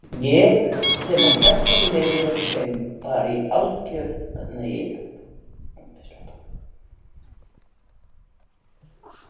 Ég sem og flestar í liðinu erum bara í hálfgerðu sjokki.